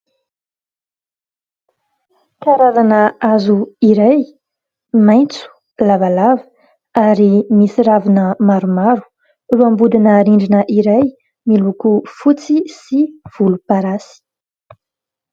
Karazana hazo iray maitso lavalava ary misy ravina maromaro, eo ambodina rindrina iray miloko fotsy sy volomparasy.